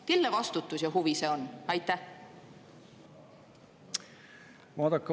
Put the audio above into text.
Kelle vastutus ja huvi see on?